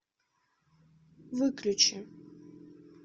выключи